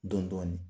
Dɔn dɔɔnin